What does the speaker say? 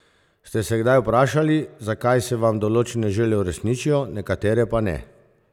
Ste se kdaj vprašali, zakaj se vam določene želje uresničijo, nekatere pa ne?